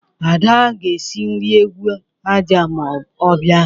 Ada ga-esi nri egwu aja ma ọ bịa.